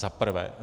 Za prvé.